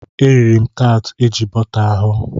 E riri m taatị eji bọta hụ.